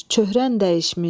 Çöhrən dəyişmiş.